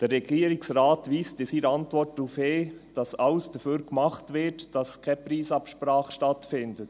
Der Regierungsrat weist in seiner Antwort darauf hin, dass alles dafür getan wird, dass keine Preisabsprache stattfindet.